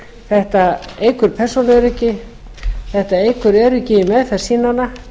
þetta eykur persónuöryggi þetta eykur öryggi í meðferð sýnanna